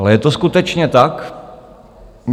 Ale je to skutečně tak?